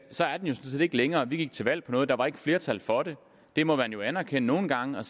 sådan set ikke længere vi gik til valg på noget og der var ikke flertal for det det må man jo anerkende nogle gange og